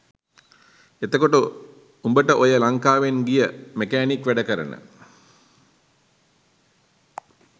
එතකොට උඹට ඔය ලංකාවෙන් ගිය මැකෑනික් වැඩ කරන